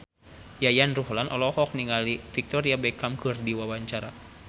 Yayan Ruhlan olohok ningali Victoria Beckham keur diwawancara